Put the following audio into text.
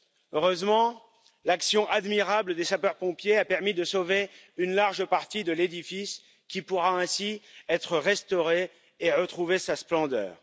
Heureusement, l'action admirable des sapeurs pompiers a permis de sauver une large partie de l'édifice, qui pourra ainsi être restauré et retrouver sa splendeur.